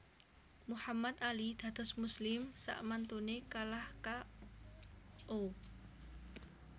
Muhammad Ali dados muslim sakmantune kalah K O